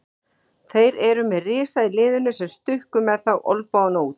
Þeir eru með risa í liðinu sem stukku upp með olnbogana úti.